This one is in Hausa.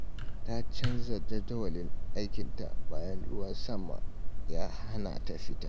Ta canza jadawalin aikinta bayan ruwan sama ya hana ta fita.